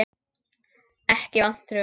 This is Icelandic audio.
Ekki vantrú.